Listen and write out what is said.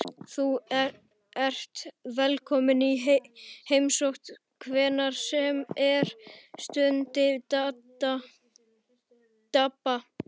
Þú ert velkominn í heimsókn hvenær sem er stundi Dadda.